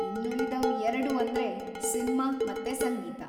ಇನ್ನುಳಿದವ್ ಎರ್ಡು‌ ಅಂದ್ರೆ ಸಿನ್ಮಾ ಮತ್ತೆ ಸಂಗೀತ.